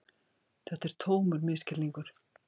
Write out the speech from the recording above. Þetta er tómur misskilningur.